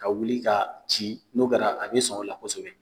Ka wuli k'a ci n'o kɛra, a bɛ sɔn o de la kosɛbɛ.